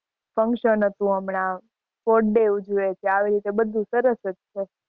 Function હતું હમણાં. Sports day ઉજવે છે. આવી રીતે બધું સરસ હતું.